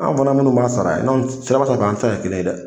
An fana minnu b'a sara n'anw siraba sanfɛ an tɛ se ka kɛ kelen ye dɛ.